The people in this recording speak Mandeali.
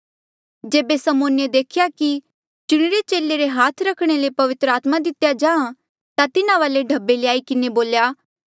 जेबे समौने देख्या कि चुणिरे चेले रे हाथ रखणे ले पवित्र आत्मा दितेया जाहाँ ता तिन्हा वाले ढब्बे ल्याई किन्हें बोल्या